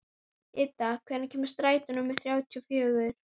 Idda, hvenær kemur strætó númer þrjátíu og fjögur?